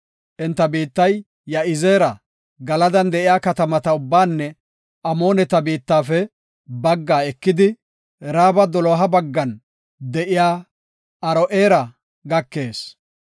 Enta biittay Ya7izeera, Galadan de7iya katamata ubbaanne Amooneta biittafe baggaa ekidi, Raaba doloha baggan de7iya Aro7eera gakees.